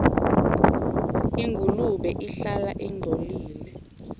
ingulube ihlala ingcolile